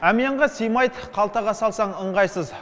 әмиянға сыймайды қалтаға салсаң ыңғайсыз